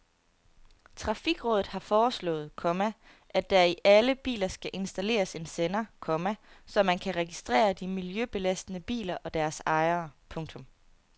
Trafikrådet har foreslået, komma at der i alle biler skal installeres en sender, komma så man kan registrere de miljøbelastende biler og deres ejere. punktum